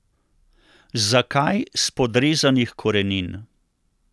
Zakaj spodrezanih korenin?